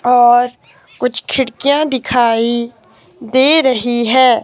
और कुछ खिड़कियां दिखाई दे रही हैं।